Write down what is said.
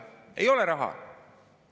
Ei ole raha!